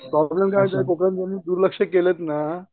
Problem काय आहे कोकनातल्यांनी दुर्लक्ष केलेत ना.